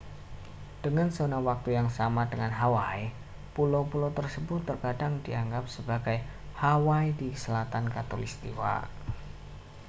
dengan zona waktu yang sama dengan hawaii pulau-pulau tersebut terkadang dianggap sebagai hawaii di selatan khatulistiwa